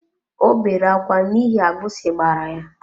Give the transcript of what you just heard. Ọ bere akwa n'ihi agbisi gbara ya.